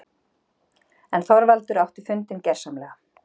En Þorvaldur átti fundinn- gersamlega.